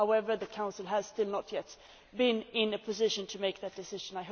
However, the Council has still not yet been in a position to make that decision.